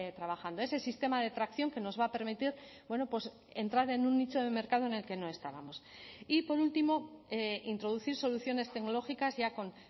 trabajando ese sistema de tracción que nos va a permitir entrar en un nicho de mercado en el que no estábamos y por último introducir soluciones tecnológicas ya con